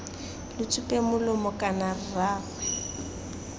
lo tsupeng molomo kana rraagwe